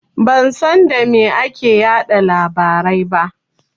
Ban san da me ake yaɗa labarai ba.